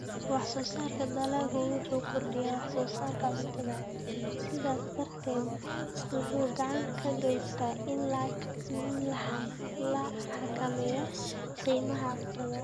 Wax-soo-saarka dalaggu wuxuu kordhiyaa wax-soo-saarka cuntada, sidaas darteed wuxuu gacan ka geysanayaa in la xakameeyo qiimaha cuntada.